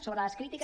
sobre les crítiques